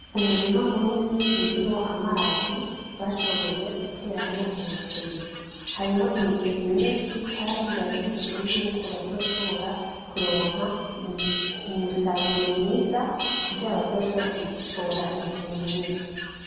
Umurima munini urimwo amazi bashoboye guteramwo umuceri. Harimwo imiceri mwinshi kandi bariteze yuko bazoshobora kuronka umusaruro mwiza kugira bazoshobore gushora imiceri myinshi.